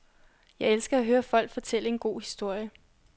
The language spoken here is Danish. Jeg elsker at høre folk fortælle en god historie.